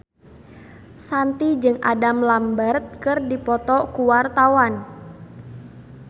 Shanti jeung Adam Lambert keur dipoto ku wartawan